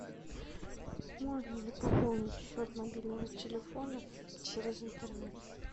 можно ли пополнить счет мобильного телефона через интернет